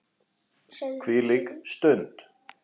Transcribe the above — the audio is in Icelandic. Hvílík stund.